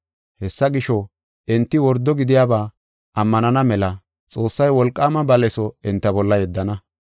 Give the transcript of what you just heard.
Hessa gisho, enti wordo gidiyaba ammanana mela Xoossay wolqaama baleso enta bolla yeddana.